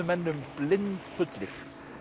menn um blindfullir